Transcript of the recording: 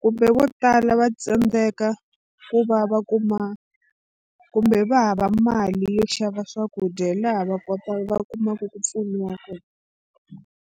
kumbe vo tala va tsandzeka ku va va kuma kumbe va hava mali yo xava swakudya hi laha va kota va kumaka ku pfuniwa kona.